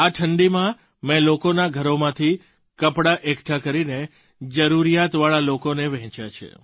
આ ઠંડીમાં મેં લોકોનાં ઘરોમાંથી કપડાં એકઠાં કરીને જરૂરિયાતવાળા લોકોને વહેંચ્યાં છે